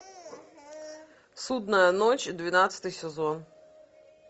судная ночь двенадцатый сезон